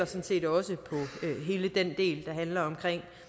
set også hele den del der handler om